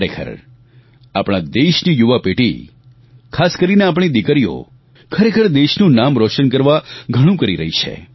ખરેખર આપણા દેશની યુવા પેઢી ખાસ કરીને આપણી દિકરીઓ ખરેખર દેશનું નામ રોશન કરવા ઘણું કરી રહી છે